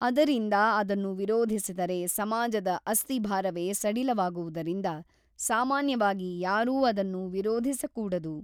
ಅದರಿಂದ ಅದನ್ನು ವಿರೋಧಿಸಿದರೆ ಸಮಾಜದ ಅಸ್ತಿಭಾರವೇ ಸಡಿಲವಾಗುವುದರಿಂದ ಸಾಮಾನ್ಯವಾಗಿ ಯಾರೂ ಅದನ್ನು ವಿರೋಧಿಸಕೂಡದು.